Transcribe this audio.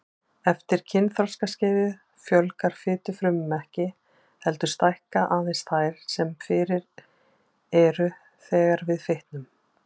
Eftir kynþroskaskeiðið fjölgar fitufrumum ekki, heldur stækka aðeins þær sem fyrir eru þegar við fitnum.